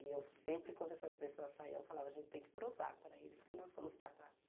E eu sempre, quando essas pessoas saiam, eu falava, a gente tem que provar para eles que nós somos capazes.